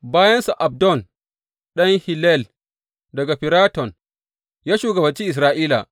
Bayansa, Abdon ɗan Hillel, daga Firaton, ya shugabanci Isra’ila.